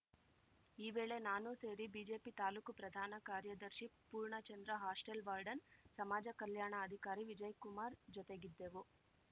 ಈ ವೇಳೆ ನಾನು ಸೇರಿ ಬಿಜೆಪಿ ತಾಲೂಕು ಪ್ರಧಾನ ಕಾರ್ಯದರ್ಶಿ ಪೂರ್ಣಚಂದ್ರ ಹಾಸ್ಟೆಲ್‌ ವಾರ್ಡನ್‌ ಸಮಾಜ ಕಲ್ಯಾಣ ಅಧಿಕಾರಿ ವಿಜಯ್‌ಕುಮಾರ್‌ ಜೊತೆಗಿದ್ದೆವು